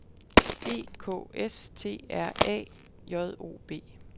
E K S T R A J O B